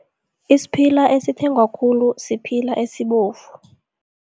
Isiphila esithengwa khulu siphila esibovu.